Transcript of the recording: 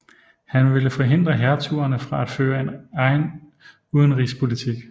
Han ville forhindre hertugerne fra at føre en egen udenrigspolitik